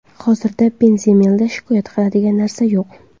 Hozirda Benzemada shikoyat qiladigan narsa yo‘q.